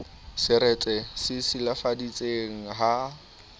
seretse se e silafaditseng ha